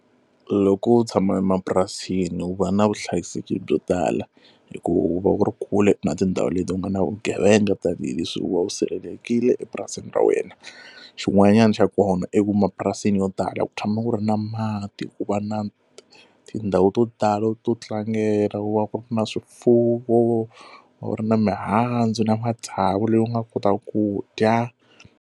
Loko u tshama emapurasini u va na vuhlayiseki byo tala hi ku u va ku ri kule na tindhawu leti u nga na vugevenga tanihileswi u sirhelelekile epurasini ra wena xin'wanyana xa kona i ku ma purasini yo tala ku tshama ku ri na mati ku va na tindhawu to tala to tlangela ku va ku ri na swifuwo ku ri na mihandzu na matsavu leyi u nga kotaka ku dya.